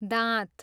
दाँत